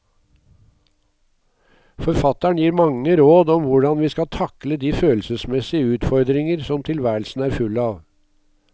Forfatteren gir mange råd om hvordan vi skal takle de følelsesmessige utfordringer som tilværelsen er full av.